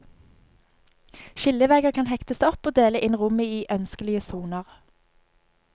Skillevegger kan hektes opp og dele inn rommet i ønskelige soner.